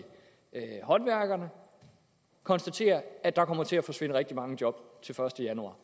håndværkerne konstatere at der kommer til at forsvinde rigtig mange job den første januar